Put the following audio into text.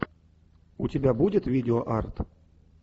у тебя будет видео арт